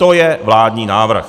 To je vládní návrh.